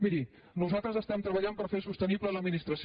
miri nosaltres treballem per fer sostenible l’administració